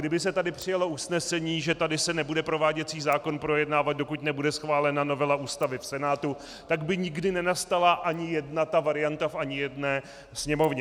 Kdyby se tady přijalo usnesení, že tady se nebude prováděcí zákon projednávat, dokud nebude schválena novela Ústavy v Senátu, tak by nikdy nenastala ani jedna ta varianta v ani jedné sněmovně.